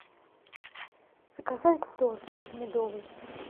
заказать торт медовый